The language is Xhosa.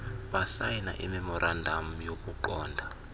basayina imemorandam yokuqonda